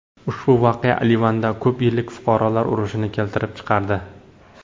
Ushbu voqea Livanda ko‘p yillik fuqarolar urushini keltirib chiqardi.